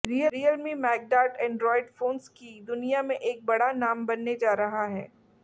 Realme MagDart Android phones की दुनिया में एक बड़ा नाम बनने जा रहा है